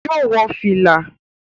Yóò wọ fìlà